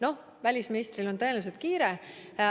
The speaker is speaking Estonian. Noh, välisministril on tõenäoliselt kiire.